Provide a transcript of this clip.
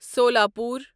Solapur